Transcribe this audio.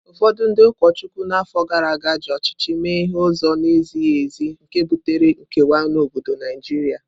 Ụfọdụ ndị ụkọchukwu na afọ gara aga ji ọchịchị mee ihe n’ụzọ na-ezighị ezi, nke butere nkewa n’obodo Naijiria.